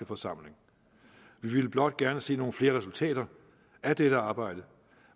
forsamling vi ville blot gerne se nogle flere resultater af dette arbejde